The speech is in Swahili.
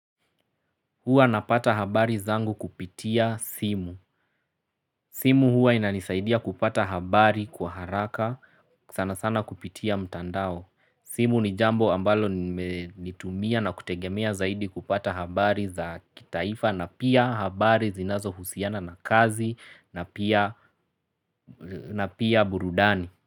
Huwa napata habari zangu kupitia simu. Simu huwa inanisaidia kupata habari kwa haraka sana sana kupitia mtandao. Simu ni jambo ambalo lime tumia na kutegemea zaidi kupata habari za kitaifa na pia habari zinazohusiana na kazi na pia na pia burudani.